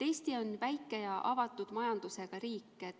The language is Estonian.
Eesti on väike ja avatud majandusega riik.